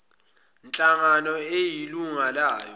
nhlangano eyilunga layo